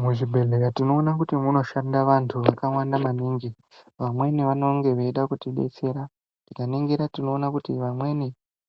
Muzvibhedhleya tinoona kuti munoshanda vantu vakawanda maningi. Vamweni vanonge veida kutidetsera, tinoningira tiona kuti vamweni